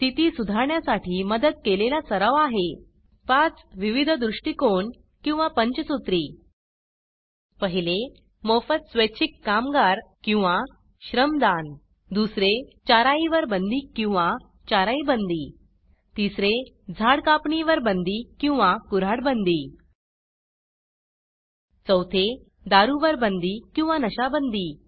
स्थिती सुधारण्यासाठी मदत केलेला सराव आहे पाच विविध दृष्टिकोन किंवा पंचसूत्री 1मोफत स्वैच्छिक कामगार किंवा श्रमदान 2चाराई वर बंदी किंवा चाराई बंदी 3झाड कापणी वर बंदी किंवा कुऱ्हाड बंदी 4दारू वर बंदी किंवा नशा बंदी